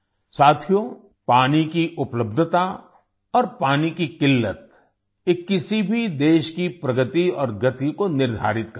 साथियो पानी की उपलब्धता और पानी की क़िल्लत ये किसी भी देश की प्रगति और गति को निर्धारित करते हैं